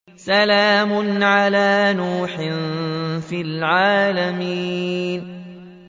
سَلَامٌ عَلَىٰ نُوحٍ فِي الْعَالَمِينَ